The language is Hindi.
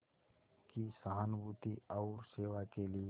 की सहानुभूति और सेवा के लिए